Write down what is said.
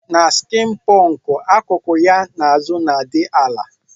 Na skin punk akuku ya na azu na adi ala.